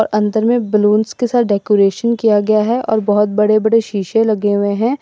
अंदर में बलूंस के साथ डेकोरेट किया गया है और बहुत बड़े बड़े शीशे लगे हुए हैं।